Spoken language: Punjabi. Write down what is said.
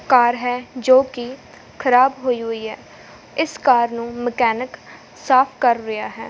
ਕਾਰ ਹੈ ਜੋ ਕਿ ਖਰਾਬ ਹੋਈ ਹੋਈ ਹੈ ਇਸ ਕਾਰ ਨੂੰ ਮਕੈਨਿਕ ਸਾਫ ਕਰ ਰਿਹਾ ਹੈ।